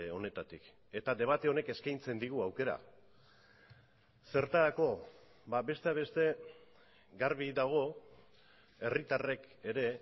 honetatik eta debate honek eskaintzen digu aukera zertarako besteak beste garbi dago herritarrek ere